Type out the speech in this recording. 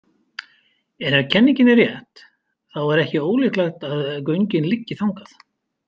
En ef kenningin er rétt, þá er ekki ólíklegt að göngin liggi þangað.